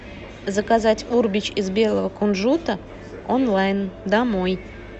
заказать урбич из белого кунжута онлайн домой